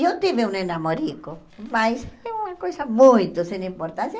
Eu tive um ne namorico, mas é uma coisa muito sem importância.